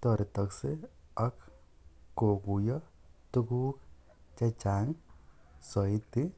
toretoksei ak kokuyo tukuk che chang sioti.